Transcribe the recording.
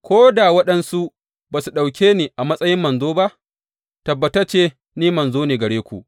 Ko da waɗansu ba su ɗauke ni a matsayin manzo ba, tabbatacce, ni manzo ne a gare ku!